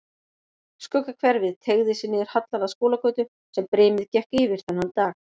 Skuggahverfið teygði sig niður hallann að Skúlagötu sem brimið gekk yfir þennan dag.